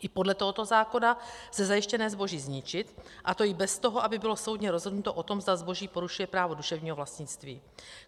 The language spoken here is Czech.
I podle tohoto zákona lze zajištěné zboží zničit, a to i bez toho, aby bylo soudně rozhodnuto o tom, zda zboží porušuje právo duševního vlastnictví.